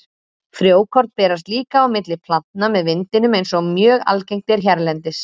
Frjókorn berast líka á milli plantna með vindinum eins og mjög algengt er hérlendis.